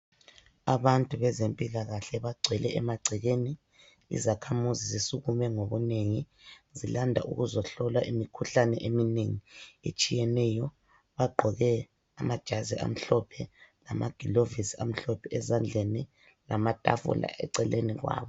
Abantu bezempilakahle bagcwele emagcekeni. Izakhamuzi zisukume ngobunengi zilanda ukuzohlola imikhuhlane eminengi etshiyeneyo .Bagqoka amajazi amhlophe lamagilovisi amhlophe ezandleni. Lamatafula eceleni kwabo.